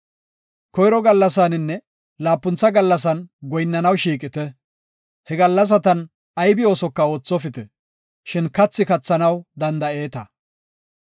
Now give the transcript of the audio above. Koyro gallasaninne laapuntha gallasan goyinnanaw shiiqite. He gallasatan aybi oosoka oothopite, shin kathi kathanaw danda7eeta.